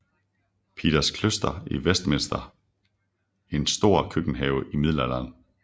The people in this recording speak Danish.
Peters Kloster i Westminster en stor køkkenhave i middelalderen